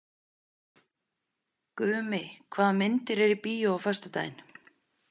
Gumi, hvaða myndir eru í bíó á föstudaginn?